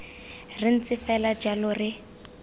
re ntse fela jalo re